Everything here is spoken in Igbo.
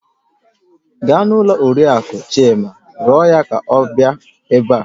Gaa n'ụlọ Oriakụ Chima rịọ ya ka ọ bịa ebe a